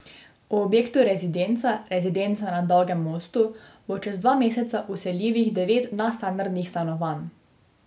V objektu Rezidenca Rezidenca na Dolgem mostu bo čez dva meseca vseljivih devet nadstandardnih stanovanj.